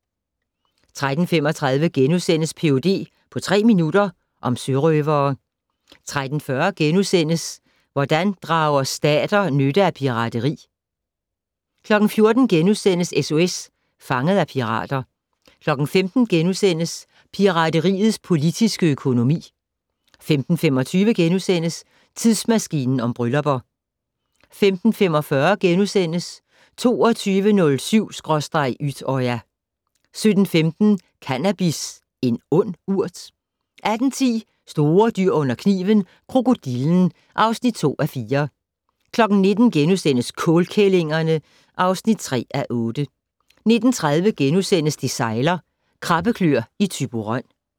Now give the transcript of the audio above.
13:35: Ph.d. på tre minutter - om sørøvere * 13:40: Hvordan drager stater nytte af pirateri? * 14:00: SOS Fanget af pirater * 15:00: Pirateriets politiske økonomi * 15:25: Tidsmaskinen om bryllupper * 15:45: 22.07/Utøya * 17:15: Cannabis - en ond urt? 18:10: Store dyr under kniven: Krokodillen (2:4) 19:00: Kålkællingerne (3:8)* 19:30: Det sejler - Krabbeklør i Thyborøn *